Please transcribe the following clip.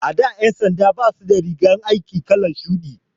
A da ƴan sanda basu da rigar aiki kalar shuɗi.